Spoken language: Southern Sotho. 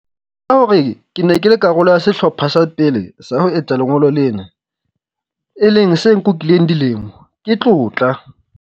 Ho tseba hore ke ne ke le karolo ya sehlopha sa pele sa ho etsa lengolo lena, e leng se nkukileng dilemo, ke tlotla.